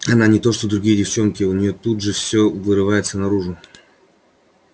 она не то что другие девчонки у неё тут же всё вырывается наружу